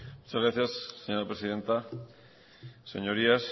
muchas gracias señora presidenta señorías